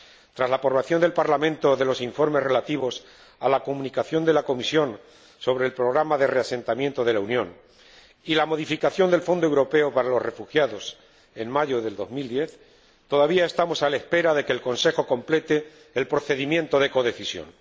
Tras la aprobación por el Parlamento de los informes relativos a la Comunicación de la Comisión sobre el programa de reasentamiento de la Unión y la modificación del Fondo Europeo para los Refugiados en mayo del 2010, todavía estamos a la espera de que el Consejo complete el procedimiento de codecisión.